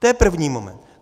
To je první moment.